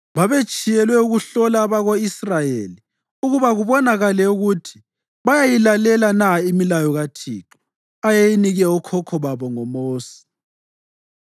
Babetshiyelwe ukuhlola abako-Israyeli ukuba kubonakale ukuthi bayayilalela na imilayo kaThixo, ayeyinike okhokho babo ngoMosi.